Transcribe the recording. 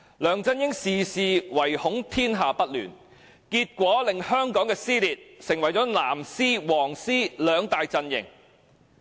梁振英事事唯恐天下不亂，結果令香港撕裂成為"藍絲"、"黃絲"兩大陣營。